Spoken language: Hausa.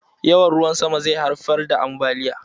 Yawan ruwan sama zai haifar da ambaliya.